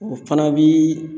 O fana bi